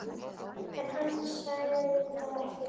En hann sagði það ekki.